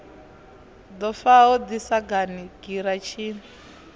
ḓo faho ḓi sagani giratshini